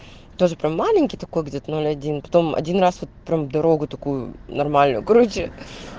тоже прям маленький такой где-то ноль один потом один раз вот прям дорогу такую нормальную короче